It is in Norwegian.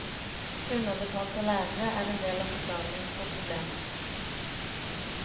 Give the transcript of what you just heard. Underbetalte lærere er en del av forklaringen på problemet.